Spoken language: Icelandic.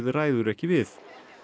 ræður ekki við